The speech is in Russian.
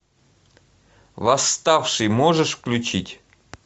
восставший можешь включить